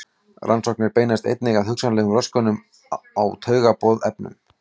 Rannsóknir beinast einnig að hugsanlegum röskunum á taugaboðefnum.